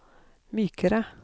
mykere